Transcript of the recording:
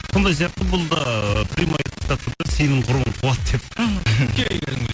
сондай сияқты бұл да прямой айтып тастады да сенің құрбың қуады деп мхм